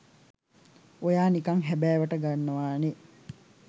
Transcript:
ඔයා නිකං හැබෑවට ගන්නවා නේ.